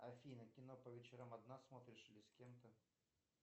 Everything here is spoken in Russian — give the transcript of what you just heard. афина кино по вечерам одна смотришь или с кем то